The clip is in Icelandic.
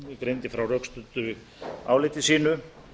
greindi frá rökstuddu áliti sínu